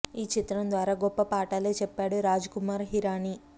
ఈ చిత్రం ద్వారా గొప్ప పాఠాలే చెప్పాడు రాజ్ కుమార్ హిరాని